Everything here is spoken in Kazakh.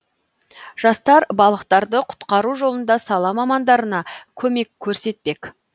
жастар балықтарды құтқару жолында сала мамандарына көмек көрсетпек